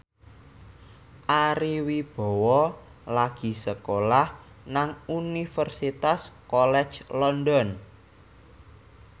Ari Wibowo lagi sekolah nang Universitas College London